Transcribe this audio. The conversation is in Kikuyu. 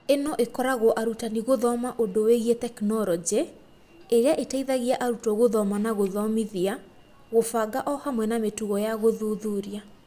Ĩno ĩkoragwo arutani gũthoma ũndũ wĩgie tekinoronjĩ ĩria ĩteithagia arutwo gũthoma na gũthomithia, gũbanga o hamwe na mĩtugo ya gũthuthuria.